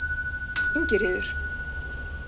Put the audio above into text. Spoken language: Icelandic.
Ingiríður